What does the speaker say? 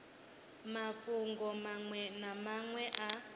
mafhungo manwe na manwe a